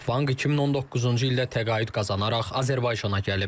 Vanq 2019-cu ildə təqaüd qazanaraq Azərbaycana gəlib.